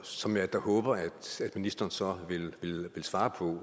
som jeg da håber at ministeren så vil svare på